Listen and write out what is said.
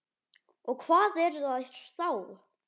Og hvað eru þær þá?